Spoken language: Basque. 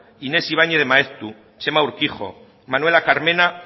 inés ibañez de maeztu txema urkijo manuela carmena